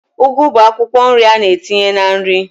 Ugu bụ akwụkwọ nri a na-etinye na nri